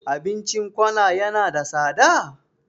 Abincin kona yana da tsada?